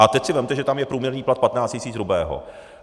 A teď si vezměte, že tam je průměrný plat 15 tisíc hrubého.